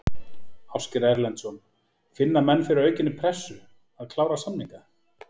Ásgeir Erlendsson: Finna menn fyrir aukinni pressu, að klára samninga?